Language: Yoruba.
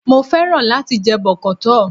Mo fẹ́ràn láti jẹ bọ̀kọ́tọ̀